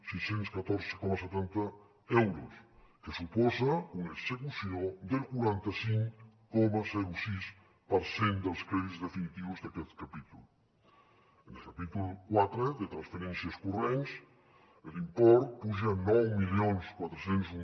sis cents i catorze coma setanta euros que suposa una execució del quaranta cinc coma sis per cent dels crèdits definitius d’aquest capítol en el capítol quatre de transferències corrents l’import puja nou mil quatre cents i un